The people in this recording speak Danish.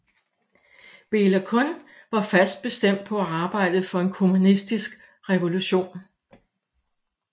Béla Kun var fast bestemt på at arbejde for en kommunistisk revolution